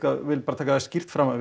vil bara taka það skýrt fram að